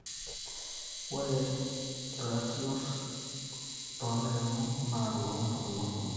ore irr`atiot too ill`airemok naa loo mpukunot kumok.